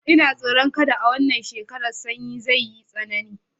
Ina tsoron kada a wannan shekara Sannyi zai yi tsanani